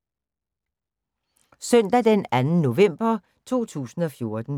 Søndag d. 2. november 2014